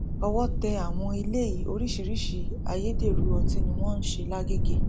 owó tẹ àwọn eléyìí oríṣiríṣiì ayédèrú ọtí ni wọn ń ṣe l'agege